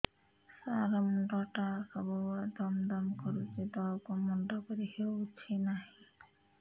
ସାର ମୁଣ୍ଡ ଟା ସବୁ ବେଳେ ଦମ ଦମ କରୁଛି ତଳକୁ ମୁଣ୍ଡ କରି ହେଉଛି ନାହିଁ